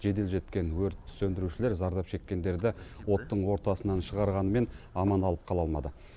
жедел жеткен өрт сөндірушілер зардап шеккендерді оттың ортасынан шығарғанымен аман алып қала алмады